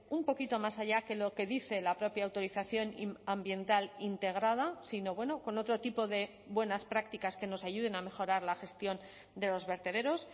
un poquito más allá que lo que dice la propia autorización ambiental integrada sino bueno con otro tipo de buenas prácticas que nos ayuden a mejorar la gestión de los vertederos